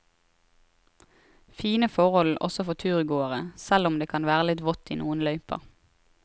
Fine forhold også for turgåere, selv om det kan være litt vått i noen løyper.